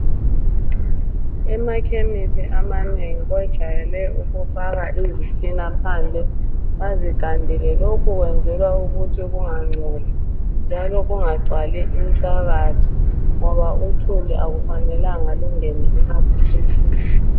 Emakhemisi amanengi kujayele ukufakwa izitina phandle bazigandele. Lokhu kwenzelwa ukuthi kungangcoli njalo kungagcwali inhlabathi ngoba uthuli akufanelanga lungene emaphilisini.